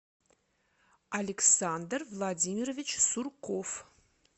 александр владимирович сурков